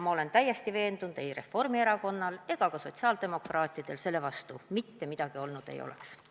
Ma olen täiesti veendunud, et ei Reformierakonnal ega ka sotsiaaldemokraatidel selle vastu mitte midagi olnud ei oleks.